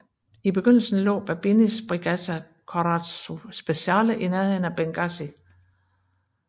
I begyndelsen lå Babinis Brigata Corazzato Speciale i nærheden af Benghazi